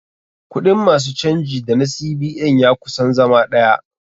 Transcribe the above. Kuɗin ma su canji da na CBN ya kusan zama ɗaya.